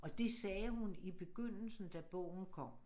Og det sagde hun i begyndelsen da bogen kom